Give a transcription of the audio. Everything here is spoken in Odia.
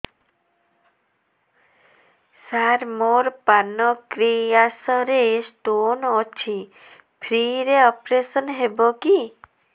ସାର ମୋର ପାନକ୍ରିଆସ ରେ ସ୍ଟୋନ ଅଛି ଫ୍ରି ରେ ଅପେରସନ ହେବ କି